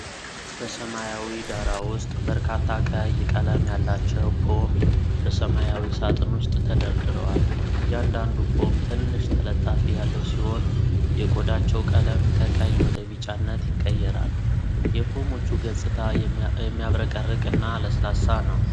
በሰማያዊ ዳራ ውስጥ በርካታ ቀይ ቀለም ያላቸው ፖም በሰማያዊ ሣጥን ውስጥ ተደርድረዋል። እያንዳንዱ ፖም ትንሽ ተለጣፊ ያለው ሲሆን፣ የቆዳቸው ቀለም ከቀይ ወደ ቢጫነት ይቀየራል። የፖሞቹ ገጽታ የሚያብረቀርቅ እና ለስላሳ ነው።